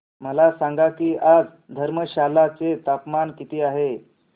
मला सांगा की आज धर्मशाला चे तापमान किती आहे